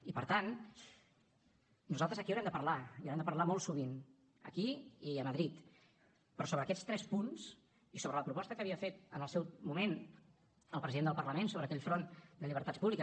i per tant nosaltres aquí haurem de parlar i haurem de parlar molt sovint aquí i a madrid però sobre aquests tres punts i sobre la proposta que havia fet en el seu moment el president del parlament sobre aquell front de llibertats públiques